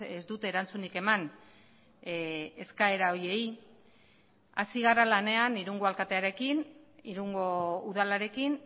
ez dute erantzunik eman eskaera horiei hasi gara lanean irungo alkatearekin irungo udalarekin